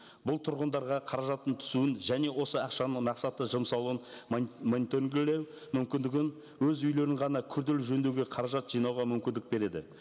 бұл тұрғындарға қаражаттың түсуін және осы ақшаны мақсатты жұмсалуын мониторингілеу мүмкіндігін өз үйлерін ғана күрделі жөндеуге қаражат жинауға мүмкіндік береді